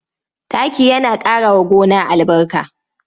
Taki yana ƙarawa gona albarka.